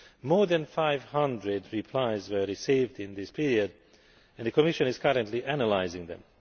More than 500 replies were received in this period and the Commission is currently analysing them.